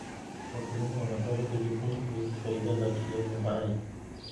Wakulima wanapaswa kujifunza kuhusu faida za kilimo hai.